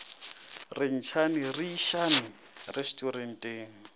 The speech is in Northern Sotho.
re ntšhane re išane resturenteng